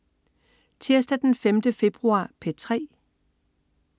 Tirsdag den 5. februar - P3: